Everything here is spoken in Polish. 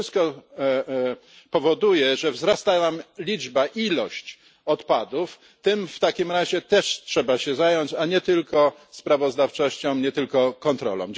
Wszystko to powoduje, że wzrasta nam liczba, ilość odpadów tym w takim razie też trzeba się zająć, a nie tylko sprawozdawczością, nie tylko kontrolą.